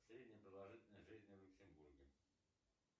средняя продолжительность жизни в люксембурге